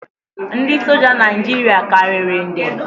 Ndị soja Naijiria karịrị nde